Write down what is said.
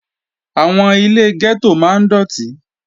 Àwọn ilé gẹ́tò máa ń dọ̀tí